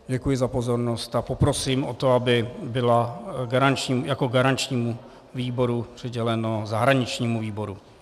Děkuji za pozornost a poprosím o to, aby byla jako garančnímu výboru přiděleno zahraničnímu výboru.